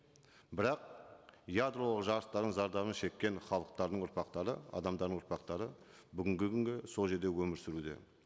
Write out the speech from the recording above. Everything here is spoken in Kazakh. бірақ ядролық жарыстардың зардабын шеккен халықтардың ұрпақтары адамдардың ұрпақтары бүгінгі күнге сол жерде өмір сүруде